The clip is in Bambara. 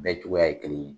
Bɛɛ cogoya ye kelen ye